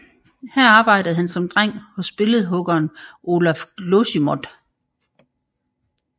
Her arbejdede han som dreng hos billedhuggeren Olaf Glosimodt